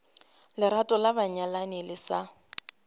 lerato la banyalani le sa